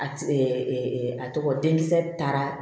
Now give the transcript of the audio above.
A a tɔgɔ di k taara